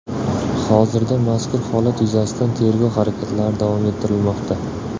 Hozirda mazkur holat yuzasidan tergov harakatlari davom ettirilmoqda.